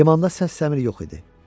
Limanda səs-səmir yox idi.